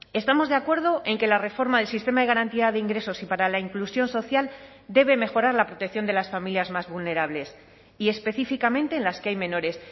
estamos de acuerdo en que la reforma del sistema de garantía de ingresos y para la inclusión social debe mejorar la protección de las familias más vulnerables y específicamente en las que hay menores